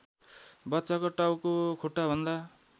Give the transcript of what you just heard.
बच्चाको टाउको खुट्टाभन्दा